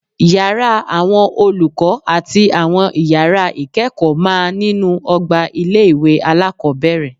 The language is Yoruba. Yàrá àwọn olùkọ́ àti àwọn ìyàrá ìkẹ́kọ̀ọ́ máa nínú ọgbà ilé-ìwé alákọ́bẹ̀rẹ̀